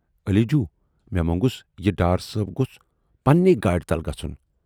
علی جوٗ، مے مونگُس یہِ ڈار صٲب گوژھ پننٕے گاڑِ تل گژھُن۔